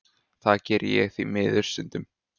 Það geri ég því miður stundum.